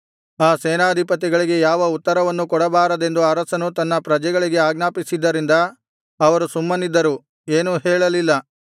ಆ ಸೇನಾಧಿಪತಿಗಳಿಗೆ ಯಾವ ಉತ್ತರವನ್ನೂ ಕೊಡಬಾರದೆಂದು ಅರಸನು ತನ್ನ ಪ್ರಜೆಗಳಿಗೆ ಆಜ್ಞಾಪಿಸಿದ್ದರಿಂದ ಅವರು ಸುಮ್ಮನಿದ್ದರು ಏನು ಹೇಳಲಿಲ್ಲ